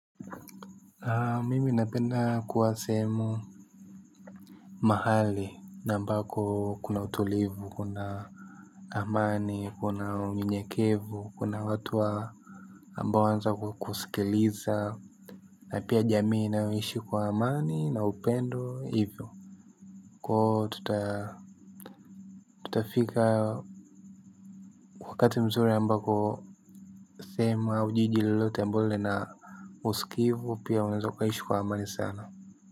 Mimi napenda kuwa sehemu mahali na ambako kuna utulivu, kuna amani, kuna unyenyekevu, kuna watu wa ambao wanaweza kukusikiliza na pia jamii inayoishi kwa amani na upendo hivyo. Tutafika wakati mzuri ambako sehemu au jiji lolote ambao lina usikivu pia unaweza ukaishi kwa amani sana.